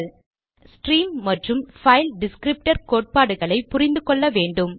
redirection பற்றி அறியும் முன் ஸ்ட்ரீம் மற்றும் பைல் டிஸ்க்ரிப்டர் கோட்பாடுகளை புரிந்து கொள்ள வேண்டும்